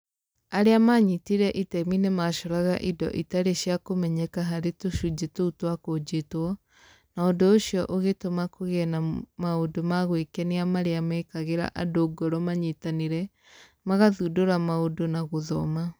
Arĩa maanyitire itemi nĩ macoraga indo itarĩ cia kũmenyeka harĩ tũcunjĩ tũu twakũnjĩtwo, na ũndũ ũcio ũgĩtũma kũgĩe na maũndũ ma gwĩkenia marĩa mekagĩra andũ ngoro manyitanĩre, magathundũra maũndũ na gũthoma